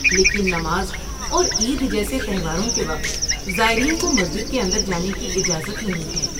لیکن نماز اور عید جیسے تہواروں کے وقت زائرین کو مسجد کے اندر جانے کی اجازت نہیں ہے۔